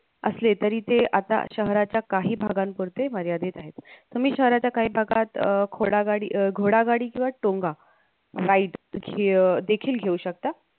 असले तरी ते आता शहरच्या काही भागापुरते मर्यादित आहेत तुम्ही शहराच्या काही भागात अह कोडगाही अह गोडागाडी किंवा टोंगा ride ची अं देखील घेऊ शकता